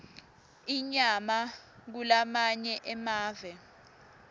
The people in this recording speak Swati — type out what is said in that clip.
inyama kulamanye emave